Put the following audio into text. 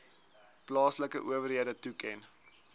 plaaslike owerhede toeken